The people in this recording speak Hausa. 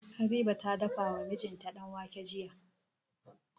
Habiba ta dafa wa mijinta danwake jiya.